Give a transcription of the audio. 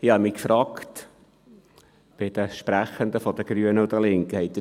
Ich habe mich bei den Sprechenden der Grünen und Linken gefragt: